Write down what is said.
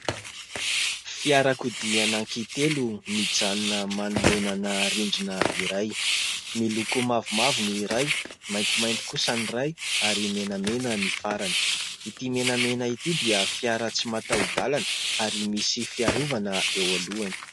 Fiarakodia anankitelo mijanonana manoloana ana rindrina iray. Miloko mavomavo ny iray, maintimainty kosa ny iray ary menamena ny farany. Ity menamena ity dia fiara tsy mataho-dalana ary misy fiarovana eo alohany.